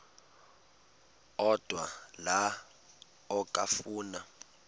odwa la okafuna